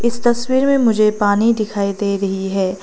इस तस्वीर में मुझे पानी दिखाई दे रही है।